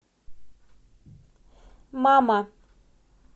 мама